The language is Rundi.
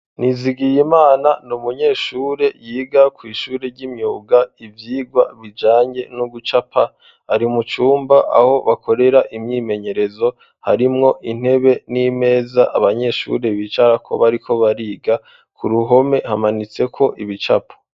Nizigiyimana no umunyeshure yiga ku ishure ry'imyuga ivyirwa bijange no gucapa ari mucumba aho bakorera imyimenyerezo harimwo intebe n'imeza abanyeshuri bicara kobariko bariga ku ruhome hamanitse ko ibicapo